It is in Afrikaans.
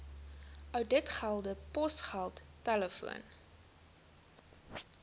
ouditgelde posgeld telefoon